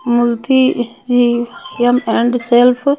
मुलती जी या band self --